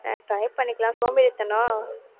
அஹ் try பண்ணிருக்கலாம் சோம்பேறித்தனம்